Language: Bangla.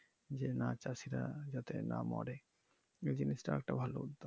যে না চাষীরা যাতে না মরে এ জিনিস টা একটা ভালো উদ্যোগ।